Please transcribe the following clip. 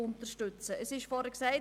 Es wurde zuvor gesagt: